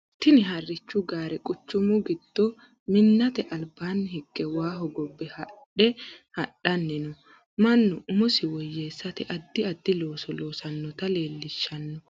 Tinni harichu gaare quchumu gido minnate albaanni hige waa hogobe haadhe hadhanni no. Mannu mumosi woyeesate addi addi looso loosanota leelishano.